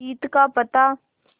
जीत का पता